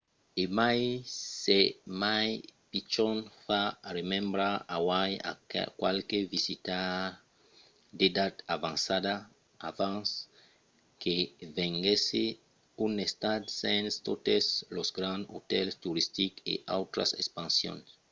e mai s’es mai pichon fa remembrar hawaii a qualques visitaires d’edat avançada abans que venguèsse un estat sens totes los grands otèls toristics e autras expansions